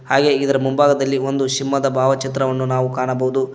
ಹಾಗೆ ಇದರ ಮುಂಭಾಗದಲ್ಲಿ ಒಂದು ಸಿಂಹದ ಭಾವಚಿತ್ರವನ್ನು ನಾವು ಕಾಣಬಹುದು.